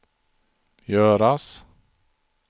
göras